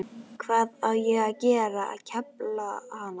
Hvað á ég að gera, kefla hana?